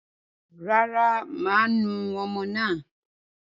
Rárá, máa nu ọmọ náà.